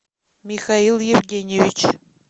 михаил евгеньевич